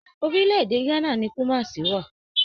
Orílẹ̀-èdè Ghana ni Kùmasí wà